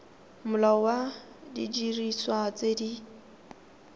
molao wa didiriswa tse di